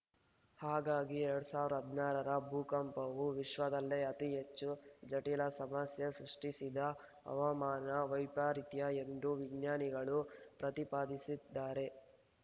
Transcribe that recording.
ಹಾಗಾಗಿ ಎರಡ್ ಸಾವಿರದ ಹದಿನಾರ ರ ಭೂಕಂಪವು ವಿಶ್ವದಲ್ಲೇ ಅತಿಹೆಚ್ಚು ಜಟಿಲ ಸಮಸ್ಯೆ ಸೃಷ್ಟಿಸಿದ ಹವಾಮಾನ ವೈಪರಿತ್ಯ ಎಂದು ವಿಜ್ಞಾನಿಗಳು ಪ್ರತಿಪಾದಿಸಿದ್ದಾರೆ